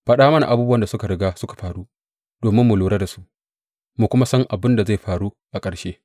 Faɗa mana abubuwan da suka riga suka faru, domin mu lura da su mu kuma san abin da zai faru a ƙarshe.